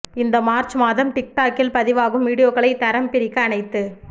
இந்த மார்ச் மாதம் டிக் டாக்கில் பதிவாகும் வீடியோக்களை தரம் பிரிக்க அனைத்து